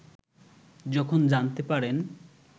যখন জানতে পারেন